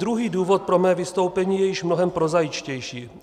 Druhý důvod pro mé vystoupení je již mnohem prozaičtější.